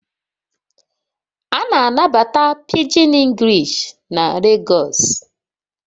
A na-anabata Pidgin English na Lagos